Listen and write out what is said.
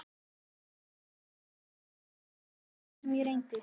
En lengra kom ég honum ekki, hvernig sem ég reyndi.